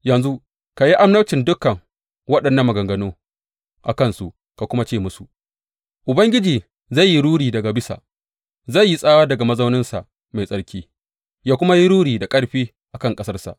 Yanzu ka yi annabcin dukan waɗannan maganganu a kansu ka kuma ce musu, Ubangiji zai yi ruri daga bisa; zai yi tsawa daga mazauninsa mai tsarki ya kuma yi ruri da ƙarfi a kan ƙasarsa.